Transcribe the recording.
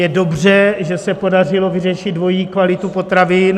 Je dobře, že se podařilo vyřešit dvojí kvalitu potravin.